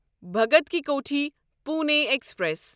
Bhagat ki Kothi Pune express